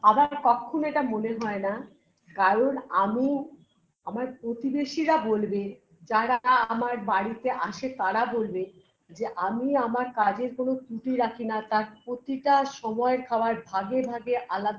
আমার কক্ষনো এটা মনে হয় না কারন আমি আমার প্রতিবেশীরা বলবে যারা আমার বাড়িতে আসে তারা বলবে যে আমি আমার কাজের কোনো ত্রুটি রাখিনা তার প্রতিটা সময় খাওয়ার ভাগে ভাগে আলাদা